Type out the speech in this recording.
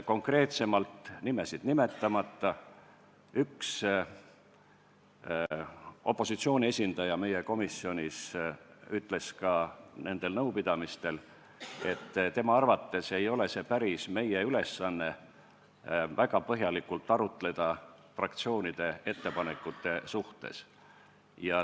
Konkreetsemalt, nimesid nimetamata võin öelda, et üks opositsiooni esindaja meie komisjonis ütles ka nendel nõupidamistel, et tema arvates ei ole päris meie ülesanne väga põhjalikult arutleda fraktsioonide ettepanekute üle.